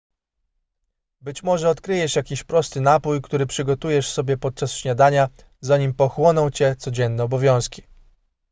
być może odkryjesz jakiś prosty napój który przygotujesz sobie podczas śniadania zanim pochłoną cię codzienne obowiązki